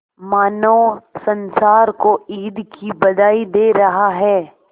मानो संसार को ईद की बधाई दे रहा है